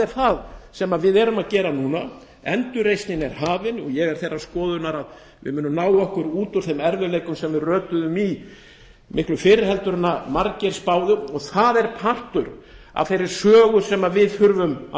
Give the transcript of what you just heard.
það sem við erum að gera núna endurreisn er hafin og ég er þeirrar skoðunar að við munum ná okkur út úr þeim erfiðleikum sem við rötuðum í miklu fyrr en margir spáðu og það er partur af þeirri sögu sem við þurfum að